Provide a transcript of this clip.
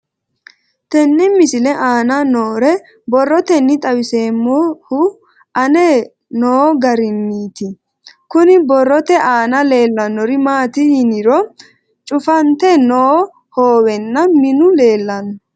Tenne misile aana noore borroteni xawiseemohu aane noo gariniiti. Kunni borrote aana leelanori maati yiniro cufante noo hoowenna minu leelanno.